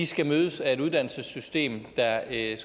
skal mødes af et uddannelsessystem der i